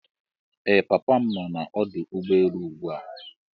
Ee papa m no na ọdụ ụgbọelu ugbua.